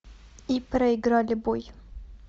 и проиграли бой